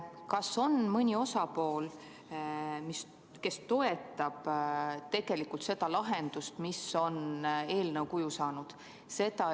Kas on mõni osaline, kes tegelikult toetab seda lahendust, mis on eelnõu kuju saanud?